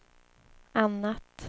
annat